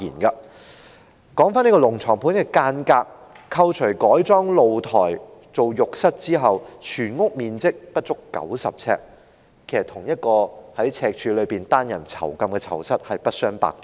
說回"龍床盤"的間格，扣除改裝露台作為浴室之外，全屋面積不足90平方呎，與赤柱單人囚室不相伯仲。